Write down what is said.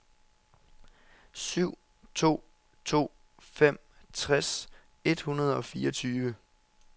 syv to to fem tres et hundrede og fireogtyve